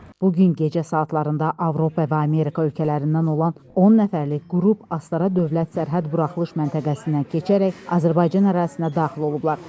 Bugün gecə saatlarında Avropa və Amerika ölkələrindən olan 10 nəfərlik qrup Astara dövlət sərhəd buraxılış məntəqəsindən keçərək Azərbaycan ərazisinə daxil olublar.